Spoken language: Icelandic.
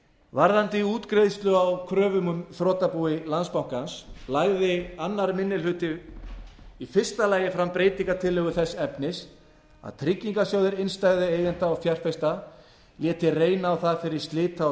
varðandi útgreiðslu á kröfum úr þrotabúi landsbankans lagði annar minni hluti í fyrsta lagi fram breytingartillögu þess efnis að tryggingarsjóður innstæðueigenda og fjárfesta léti reyna á það fyrir slita og